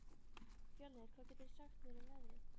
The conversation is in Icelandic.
Fjölnir, hvað geturðu sagt mér um veðrið?